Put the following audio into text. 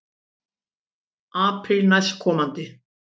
Apríl næstkomandi.